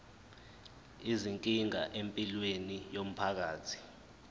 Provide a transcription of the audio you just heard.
izinkinga empilweni yomphakathi